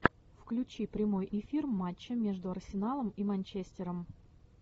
включи прямой эфир матча между арсеналом и манчестером